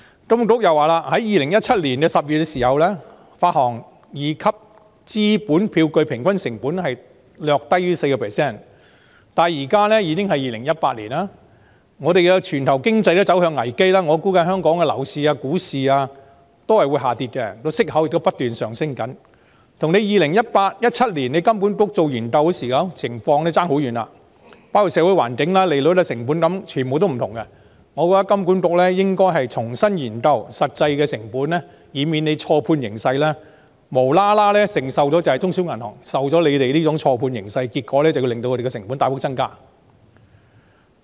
金管局指出 ，2017 年10月時發行二級資本票據平均成本略低於 4%， 但現時已是2018年，全球經濟亦走向危機，我估計香港的樓市、股市將會下跌，息口亦不斷攀升，這情況跟2017年金管局進行研究時相去甚遠，包括社會環境、利率、成本等，已大不相同，我覺得金管局應該重新研究實際的成本，以免錯判形勢，無端要中小銀行承受這錯判的影響，令他們的成本大幅增加。